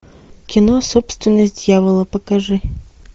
кино собственность дьявола покажи